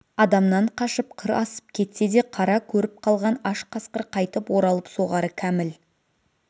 адамнан қашып қыр асып кетсе де қара көріп қалған аш қасқыр қайтып оралып соғары кәміл